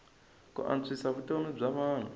ku antswisa vutomi bya vanhu